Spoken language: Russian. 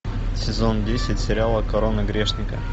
сезон десять сериала корона грешника